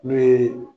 N'o ye